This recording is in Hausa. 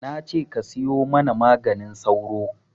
Nace ka siyo mana maganin sauro